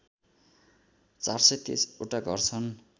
४२३ वटा घर छन्